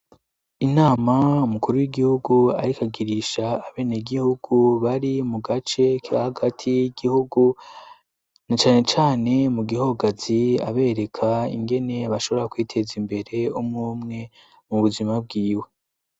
Inama mukuru w'igihugu arikagirisha abene gihugu bari mu gace ka hagati gihugu na canecane mu gihogazi abereka ingene bashobora kwiteza imbere umwumwe mu buzima bwiwe.